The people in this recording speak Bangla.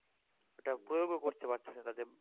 এটা প্রয়োগ ও করতে পারতেছে না তাদের